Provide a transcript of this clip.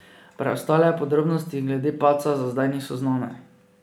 Preostale podrobnosti glede padca za zdaj niso znane.